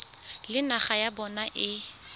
le naga ya bona e